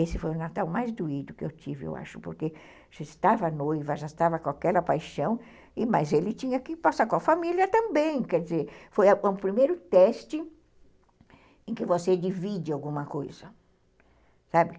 Esse foi o Natal mais doído que eu tive, eu acho, porque já estava noiva, já estava com aquela paixão, mas ele tinha que passar com a família também, quer dizer, foi o primeiro teste em que você divide alguma coisa, sabe?